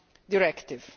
directive.